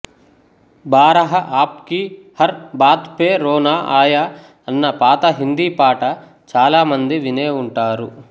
బారహా ఆప్కీ హర్ బాత్ పే రోనా ఆయా అన్న పాత హిందీ పాట చాలా మంది వినే ఉంటారు